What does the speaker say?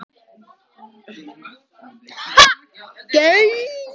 Hún hefur farið inn í skápana þína og stolið hattinum.